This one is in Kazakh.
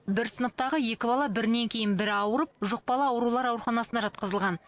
бір сыныптағы екі бала бірінен кейін бірі ауырып жұқпалы аурулар ауруханасына жатқызылған